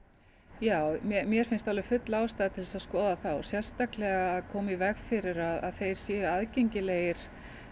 já mér finnst full ástæða til að skoða það sérstaklega að koma í veg fyrir að þeir séu aðgengilegir